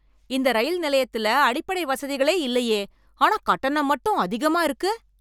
இந்த ரயில் நிலையத்துல அடிப்படை வசதிகளே இல்லயே ஆனா கட்டணம் மட்டும் அதிகமா இருக்கு.